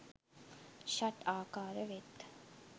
ෂට් ආකාර වෙත්.